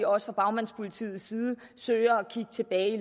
også fra bagmandspolitiets side søger at kigge tilbage i